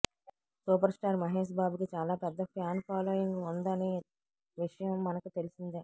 super star Mahesh Babu కి చాలా పెద్ద ఫ్యాన్ ఫాలోయింగ్ వుంది అనే విషయం మనకు తెలిసిందే